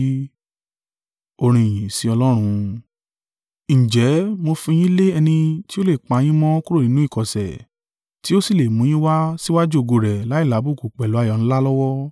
Ǹjẹ́ mo fi yín lé ẹni tí o lè pa yín mọ́ kúrò nínú ìkọ̀sẹ̀, tí o sì lè mú yín wá síwájú ògo rẹ̀ láìlábùkù pẹ̀lú ayọ̀ ńlá lọ́wọ́—